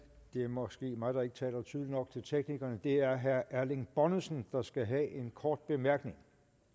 det er måske mig der ikke taler tydeligt nok til teknikerne det er herre erling bonnesen der skal have en kort bemærkning